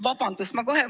Vabandust!